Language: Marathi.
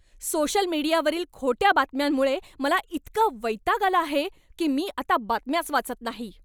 सोशल मीडियावरील खोट्या बातम्यांमुळे मला इतका वैताग आला आहे की मी आता बातम्याच वाचत नाही.